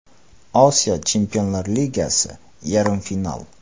Osiyo Chempionlar Ligasi Yarim final.